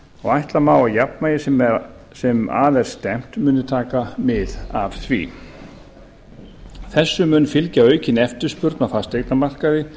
og ætla má að jafnvægi sem að er stefnt muni taka mið af því þessu mun fylgja aukin eftirspurn á fasteignamarkaði